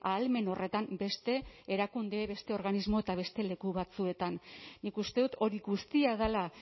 ahalmen horretan beste erakunde beste organismo eta beste leku batzuetan nik uste dut hori guztia dela